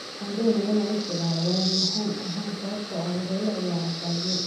Waxaan doonayaa in aan u isticmaalo weeraryahan ahaan sababtoo ah waxa uu la ciyaaray Brazil''.